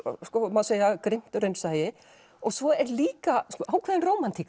má segja grimmt raunsæi og svo er líka ákveðin rómantík